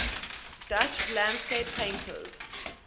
dutch landscape painters